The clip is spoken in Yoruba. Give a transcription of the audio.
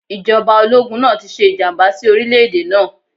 Ìjọba ológun náà ti ṣe ìjàmbá sí orílẹ̀-èdè náà.